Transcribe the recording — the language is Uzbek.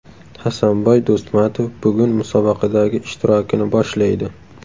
Hasanboy Do‘stmatov bugun musobaqadagi ishtirokini boshlaydi.